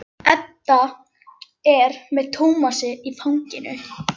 Edda er með Tómas í fanginu.